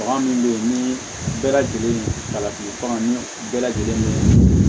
Bagan min bɛ yen ni bɛɛ lajɛlen kalafili baganw ni bɛɛ lajɛlen bɛ